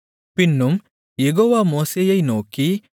பின்னும் யெகோவா மோசேயை நோக்கி